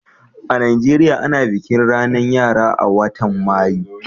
a'Nijeriya, ana bikin ranan yara a'wotan Mayu.